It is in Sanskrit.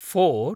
फोर्